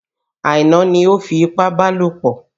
Aina ni o fipábalòpọ̀.